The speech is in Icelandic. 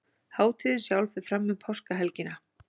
Hátíðin sjálf fer fram um Páskahelgina